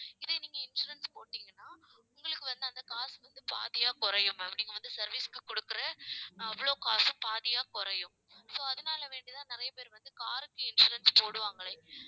இதை நீங்க insurance போட்டீங்கன்னா உங்களுக்கு வந்து அந்த காசு வந்து பாதியா குறையும் ma'am நீங்க வந்து service க்கு கொடுக்கற அவ்வளவு காசும் பாதியா குறையும். so அதனால வேண்டிதான் நிறைய பேர் வந்து car க்கு insurance போடுவாங்களே